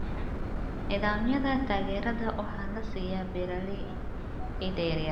Nidaamyada taageerada waxaa la siiyaa beeralayda yaryar.